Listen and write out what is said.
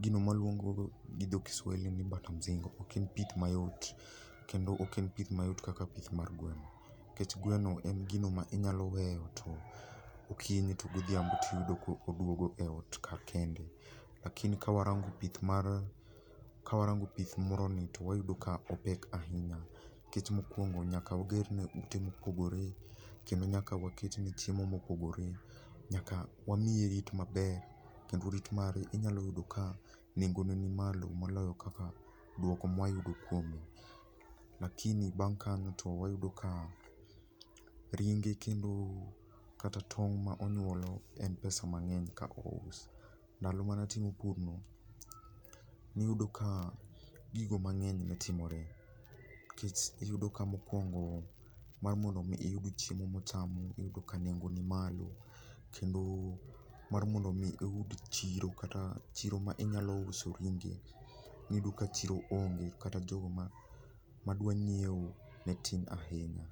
gino mwaluongo go gi dho Kiswahili ni Mbata mzingo ok en pith mayot. Kendo ok en pith mayot kaka pith mar gweno. Kech gweno en gino ma inyalo weyo to okinyi to godhiambo tiyudo ko oduogo e ot ka kende. Lakini ka warango pith mar, kawarango pith moroni to wayudo ka opek ahinya. Kech mokwongo nyaka wagerne ute mopogore, kendo nyaka waketne chiemo mopogore. Nyaka wamiye rit maber, kendo rit mare inyalo yudo ka nengo ne nimalo moloyo kaka dwoko mwayudo kuomgi. Lakini bang' kanyo to wayudo ka ringe kendo kata tong' ma onyuolo en pesa mang'eny ka ous. Ndalo manatimo pur no, niyudo ka gigo mang'eny ne timore. Kech iyudo ka mokwongo mar mondo mi iyud chiemo mochamo iyudo ka nengo ni malo, kendo mar mondo mi iyud chiro kata chiro ma inyalo uso ringe. Iyudo ka chiro onge kata jogo ma madwa nyiewo, ne tin ahinya.